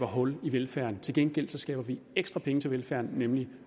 hul i velfærden til gengæld skaffer vi ekstra penge til velfærden nemlig